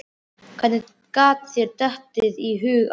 Hvernig datt þér í hug að?